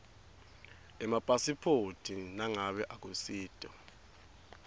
emapasiphoti nangabe akusito